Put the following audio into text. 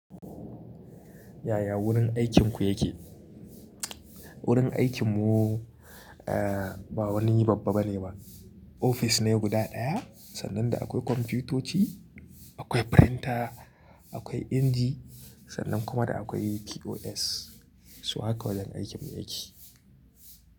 Yaya wurin aikinku yake? Wurin aikinmu, ah ba wani babba bane ba. Ofis ne guda ɗaya sannan da akwai kwamfutoci, akwai printer, akwai inji sannan kuma da akwai POS. So haka wajen aikin mu yake.